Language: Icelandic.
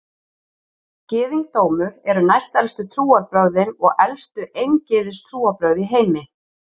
Gyðingdómur eru næstelstu trúarbrögðin og elstu eingyðistrúarbrögð í heimi.